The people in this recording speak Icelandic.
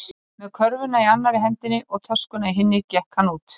Með körfuna í annarri hendinni og töskuna í hinni gekk hann út.